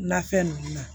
Nafɛn ninnu na